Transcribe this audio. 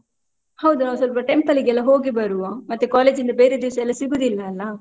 ಹೌದು ನಾವ್ ಸ್ವಲ್ಪ temple ಗೆಲ್ಲಾ ಹೋಗಿ ಬರುವ ಮತ್ತೆ college ಇಂದ ಬೇರೆ ದಿವ್ಸ ಎಲ್ಲಾ ಸಿಗುದಿಲ್ಲ ಅಲ್ಲಾ?